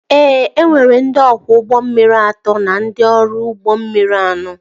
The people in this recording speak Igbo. E nwere ndị ọkwọ ụgbọ mmiri atọ na ndị ọrụ ụgbọ mmiri ahụ